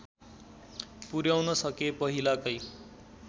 पुर्‍याउन सके पहिलाकै